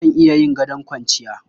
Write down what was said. Zan iya yin gadon kwanciya.